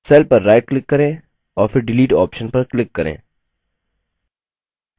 cell पर right click करें और फिर delete option पर click करें